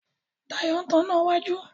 Dayo ń tán iná wájú.